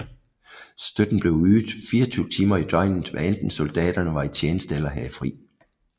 Støtten blev ydet 24 timer i døgnet hvad enten soldaterne var i tjeneste eller havde fri